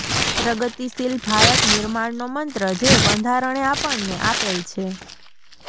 પ્રગતિશીલ ભારત નિર્માણનો મંત્ર જે બંધારણે આપણને આપેલ છે